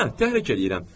Hə, təhrik eləyirəm.